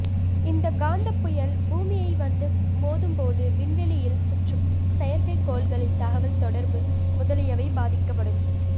இந்த காந்தப் புயல் பூமியை வந்து மோதும்போது விண்வெளியில் சுற்றும் செயற்கை கோள்களின் தகவல் தொடர்பு முதலியவை பாதிக்கப்படும்